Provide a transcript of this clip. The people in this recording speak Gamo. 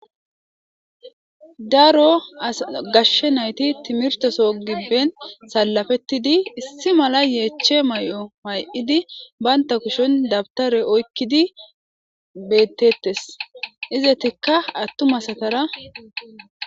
daro gashshe nayti timirteso gibben sallafettidi issi mala yeeche may7o may7idi baynta kushen dabtare oykkidi bettettes izetikka attumasatara maccatarakko